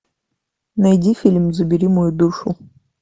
найди фильм забери мою душу